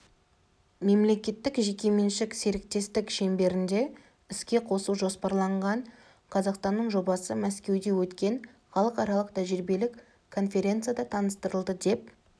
мемлекеттік-жеке меншік серіктестік шеңберінде іске қосу жоспарланған қазақстанның жобасы мәскеуде өткен халықаралық тәжірибелік конференцияда таныстырылды деп